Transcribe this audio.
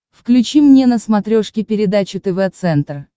включи мне на смотрешке передачу тв центр